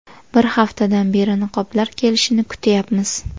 Bir haftadan beri niqoblar kelishini kutyapmiz”.